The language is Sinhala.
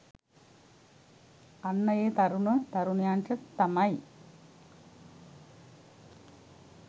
අන්න ඒ තරුණ තරුණියන්ට තමයි